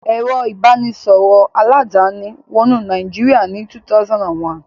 Ẹ̀rọ ìbanisọ̀rọ̀ aládàáni wọnú Nàìjíríà ní 2001.